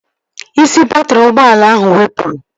Isi baatrị ụgbọala ahụ wepụrụ